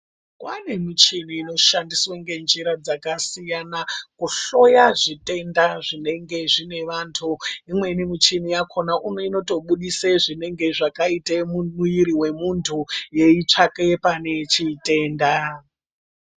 Kwane michini inoshandiswe ngenjira dzakasiyana kuhloya zvitenda zvinenge zvine vantu. Imweni michina yakona uno inotobudise zvakaite mumuviri memuntu yeitsvake pane chitenda.